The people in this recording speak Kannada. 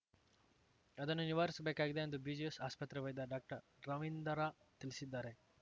ಅದನ್ನು ನಿವಾರಿಸಬೇಕಾಗಿದೆ ಎಂದು ಬಿಜಿಎಸ್‌ ಆಸ್ಪತ್ರೆ ವೈದ್ಯ ಡಾಕ್ಟರ್ ರವೀಂದ್ರ ತಿಳಿಸಿದ್ದಾರೆ